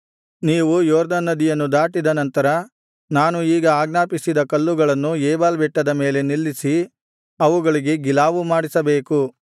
ನೀವು ಯೊರ್ದನ್ ನದಿಯನ್ನು ದಾಟಿದ ನಂತರ ನಾನು ಈಗ ಆಜ್ಞಾಪಿಸಿದ ಕಲ್ಲುಗಳನ್ನು ಏಬಾಲ್ ಬೆಟ್ಟದ ಮೇಲೆ ನಿಲ್ಲಿಸಿ ಅವುಗಳಿಗೆ ಗಿಲಾವು ಮಾಡಿಸಬೇಕು